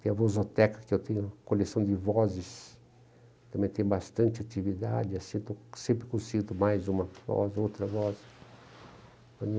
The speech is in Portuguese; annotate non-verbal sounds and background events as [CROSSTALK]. Tem a Vozoteca, que eu tenho coleção de vozes, também tem bastante atividade, assim, [UNINTELLIGIBLE] sempre consigo mais uma voz, outra voz.